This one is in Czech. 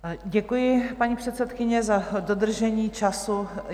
Děkuji, paní předsedkyně, za dodržení času.